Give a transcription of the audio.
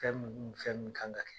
Fɛn minnu ni fɛn min kan ka kɛ